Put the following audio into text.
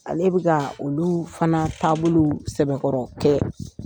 Ale bɛka olu fana taabolo sɛbɛkɔrɔ kɛ.